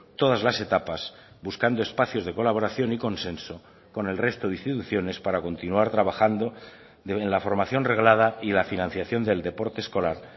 todas las etapas buscando espacios de colaboración y consenso con el resto de instituciones para continuar trabajando en la formación reglada y la financiación del deporte escolar